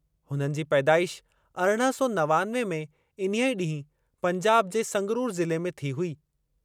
हुननि जी पैदाइश अरिड़हं सौ नवानवे में इन्हीअ ॾींहुं पंजाब जे संगरूर ज़िले में थियो हो।